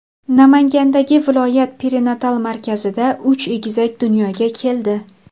Namangandagi viloyat perinatal markazida uch egizak dunyoga keldi.